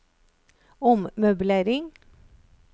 ommøblering